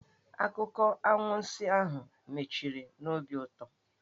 Akụkọ anwansi ahụ mechiri n'obi ụtọ.